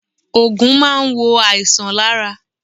Oògùn máa n wo àìsàn lára